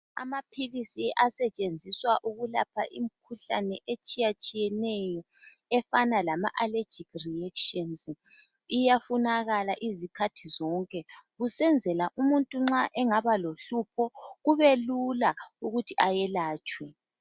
Amaphilisi asetshenziswa ukulapha imikhuhlane etshiyatshiyeyeneyo efana lama alejikhi riyetshinzi, iyafunakala izikhathi zonke kusenzela abantu nxa belohlupho kube lula ukuthi ayelatshwe.